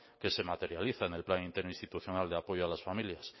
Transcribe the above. que se materializa en el plan interinstitucional de apoyo a las familias